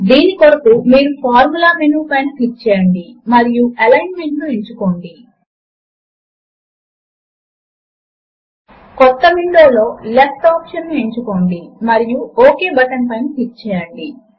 000417 000416 math formula editor మరియు elements window లను తిరిగి తెచ్చుకోవడము కొరకు గ్రే బాక్స్ పైన డబుల్ క్లిక్ చేయండి